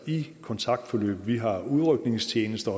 i kontaktforløb vi har udrykningstjeneste